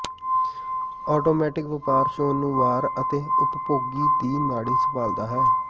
automatic ਵਪਾਰ ਚੋਣ ਨੂੰ ਵਾਰ ਅਤੇ ਉਪਭੋਗੀ ਦੀ ਨਾੜੀ ਸੰਭਾਲਦਾ ਹੈ